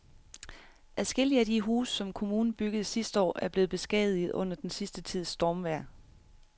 Adskillige af de huse, som kommunen byggede sidste år, er blevet beskadiget under den sidste tids stormvejr.